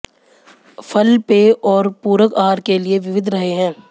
फल पेय और पूरक आहार के लिए विविध रहे हैं